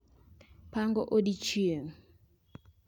Pango odiechieng'